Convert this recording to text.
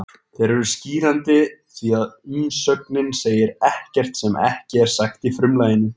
Þeir eru skýrandi því að umsögnin segir ekkert sem ekki er sagt í frumlaginu.